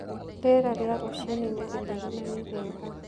Rĩera rĩa rũcinĩ nĩ rĩtherũ na nĩ rĩega.